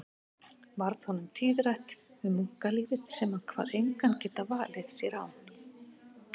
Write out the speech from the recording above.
Varð honum tíðrætt um munklífið sem hann kvað engan geta valið sér án